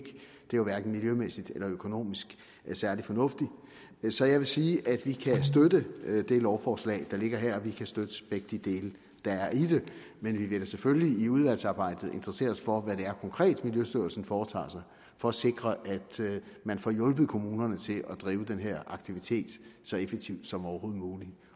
jo hverken miljømæssigt eller økonomisk særlig fornuftigt så jeg vil sige at vi kan støtte det lovforslag der ligger her og vi kan støtte begge de dele der er i det men vi vil da selvfølgelig i udvalgsarbejdet interessere os for hvad det konkret er miljøstyrelsen foretager sig for at sikre at man får hjulpet kommunerne til at drive den her aktivitet så effektivt som overhovedet muligt